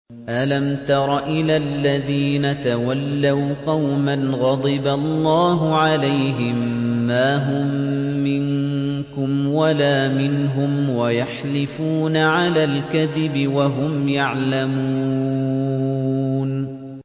۞ أَلَمْ تَرَ إِلَى الَّذِينَ تَوَلَّوْا قَوْمًا غَضِبَ اللَّهُ عَلَيْهِم مَّا هُم مِّنكُمْ وَلَا مِنْهُمْ وَيَحْلِفُونَ عَلَى الْكَذِبِ وَهُمْ يَعْلَمُونَ